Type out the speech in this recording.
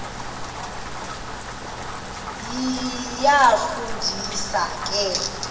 iyafu ndisa ke